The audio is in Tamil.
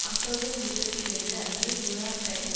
அக்டோபர் இருபத்தி இரண்டு அன்று நியூயோர்க் டைம்ஸ்